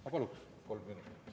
Ma paluks kolm minutit.